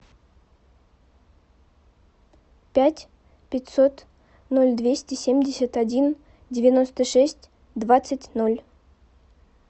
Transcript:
пять пятьсот ноль двести семьдесят один девяносто шесть двадцать ноль